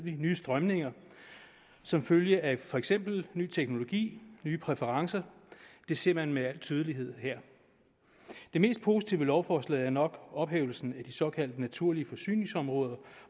nye strømninger som følge af for eksempel ny teknologi nye præferencer det ser man med al tydelighed her det mest positive ved lovforslaget er nok ophævelsen af de såkaldte naturlige forsyningsområder